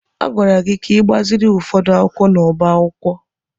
A gwara gị ka gbaziri ụfọdụ akwụkwọ n'ọbá akwụkwọ!